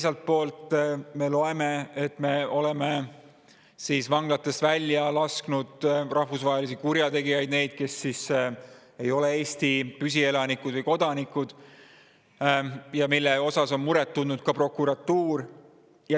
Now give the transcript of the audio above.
Samas me loeme, et me oleme vanglatest välja lasknud rahvusvahelisi kurjategijaid – neid, kes ei ole Eesti püsielanikud või kodanikud –, mille pärast on muret tundnud ka prokuratuur.